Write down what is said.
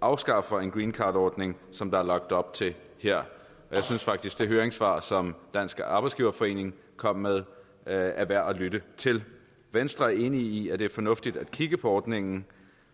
afskaffer greencardordningen som der er lagt op til her jeg synes faktisk at det høringssvar som dansk arbejdsgiverforening kom med er er værd at lytte til venstre er enig i at det er fornuftigt at kigge på ordningen